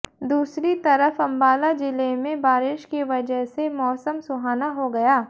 दूसरी तरफ अम्बाला जिले में बारिश की वजह से मौसम सुहाना हो गया